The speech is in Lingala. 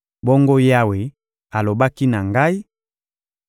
Bongo Yawe alobaki na ngai: